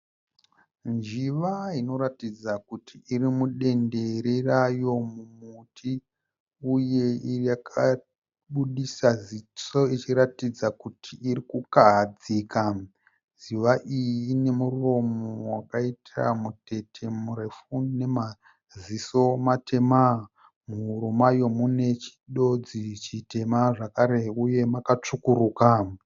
Njiva inoratidza kuti iri mudendere rayo mumuti uye yaka buditsa ziso ichiratidza kuti iri kukahadzika. Njiva iyi ine muromo wakaita mutete murefu nemaziso matema .Muhuro mayo mune chidodzi chitema zvakare uye makatsvukuruka.